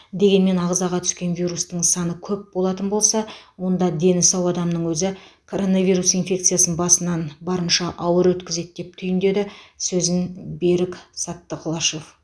дегенмен ағзаға түскен вирустың саны көп болатын болса онда дені сау адамның өзі коронавирус инфекциясын басынан барынша ауыр өткізеді деп түйіндеді сөзін берік саттықлышев